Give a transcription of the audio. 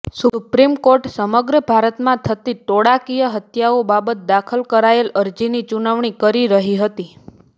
supreme court સમગ્ર ભારતમાં થતી ટોળાકીય હત્યાઓ બાબત દાખલ કરાયેલ અરજીની સુનાવણી કરી રહી હતી